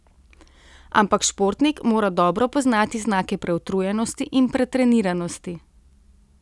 Ampak športnik mora dobro poznati znake preutrujenosti in pretreniranosti.